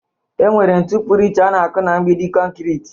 Enwere ntu pụrụ iche ana-akụ na mgbidi kọnkịritị